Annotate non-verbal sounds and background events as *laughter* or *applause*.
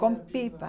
*unintelligible* Com pipa.